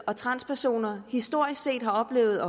og transpersoner historisk set har oplevet